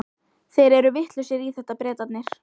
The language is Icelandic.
Þeir eru vitlausir í þetta, Bretarnir.